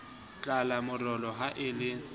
tlala morolo ha e le